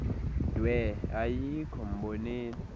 dwe ayikho mboneni